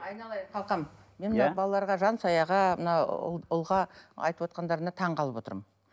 айналайын қалқам мен мына балаларға жансаяға мына ұл ұлға айтып отқандарыңа таңғалып отырмын